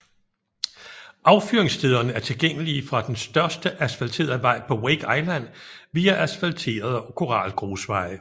Affyringsstederne er tilgængelige fra den største asfalterede vej på Wake Island via asfalterede og koralgrusveje